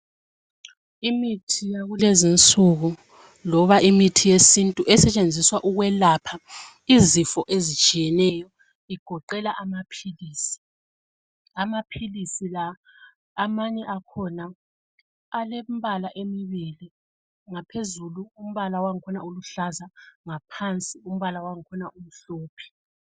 Imithi yakulezinsuku loba imithi yesintu esetshenziswa ukwelapha izifo ezitshiyeneyo igoqela amaphilizi. Amaphilizi la amanye akhona alembala emibili ngaphezulu umbala wangakhona uluhlaza ngaphansi umbala wangakhona umhlophe.